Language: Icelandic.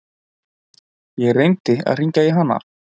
Ég reyndi að hringja í hana.